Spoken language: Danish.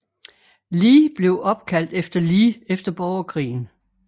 Lee blev opkaldt efter Lee efter Borgerkrigen